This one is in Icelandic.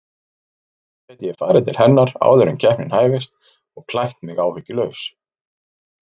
Svo gæti ég farið til hennar áður en keppnin hæfist og klætt mig áhyggjulaus.